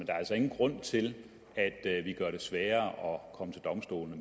er altså ingen grund til at vi gør det sværere at komme til domstolene